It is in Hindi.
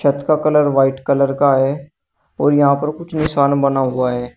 छत का कलर व्हाइट कलर का है और यहां पर कुछ निशान बना हुआ है।